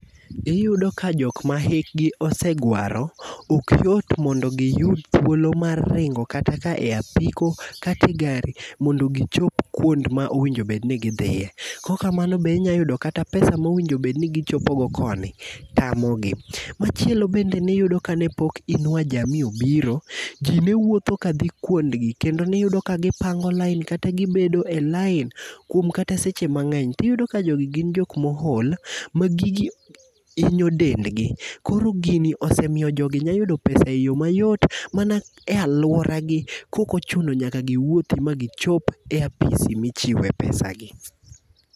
Iyudo ka jokma hikgi osegwaro, ok yot mondo giyud thuolo mar ringo kata ka e apiko, kata e gari, mondo gichop kuond ma owinjo obed ni gidhie. Kok kamano bende inyalo yudo kata pesa mowinjo bed ni gichopogo koni tamogi. Machielo ni bende ni yudo kanepok Inua jamii obiro, ji newuotho ka dhi kuondgi, kendo ne iyudo ka gipango line, kata gibedo e line kuom kata seche mangény. Tiyudo ka jogi gin jok ma ool, ma gigi inyo dendgi. Koro gini osemiyo jogi nyayudo pesa mayot, mana e alwora gi kok ochuno nyaka giwuothi ma gichop e apisi ma ichiwe pesagi.